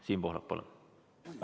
Siim Pohlak, palun!